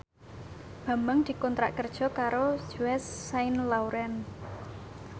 Bambang dikontrak kerja karo Yves Saint Laurent